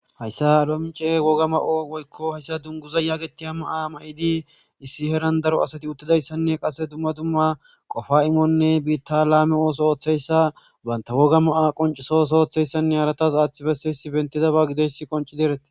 hayssa adomce woga ma7o woykko hayssa dunguza yaagetiya maa ma7idi issi heran daro asati uttidayssanne qasse dumma dumma qofa imonne biitta laame ooso ooththeyssa banta woga ma7a qoncisoso oththeyssanne haratas aaththi besse issi bentidaba gideyss qonci derete